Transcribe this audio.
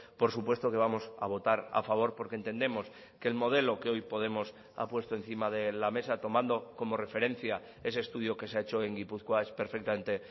por supuesto que vamos a votar a favor porque entendemos que el modelo que hoy podemos ha puesto encima de la mesa tomando como referencia ese estudio que se ha hecho en gipuzkoa es perfectamente